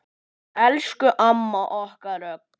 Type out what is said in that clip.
Elsku amma okkar rokk.